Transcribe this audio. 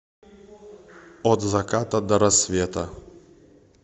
от заката до рассвета